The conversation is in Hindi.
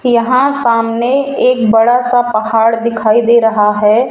यहां सामने एक बड़ा सा पहाड़ दिखाई दे रहा है।